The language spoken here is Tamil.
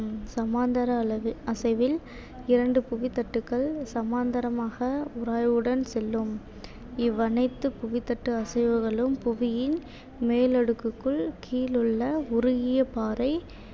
சமாந்தர அளவு அசைவில் இரண்டு புவித்தட்டுக்கள் சமாந்தரமாக உராய்வுடன் செல்லும் இவ்வனைத்து புவித்தட்டு அசைவுகளும் புவியின் மேலடுக்குக்குள் கீழுள்ள உருகிய பாறை